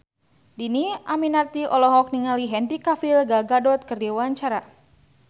Dhini Aminarti olohok ningali Henry Cavill Gal Gadot keur diwawancara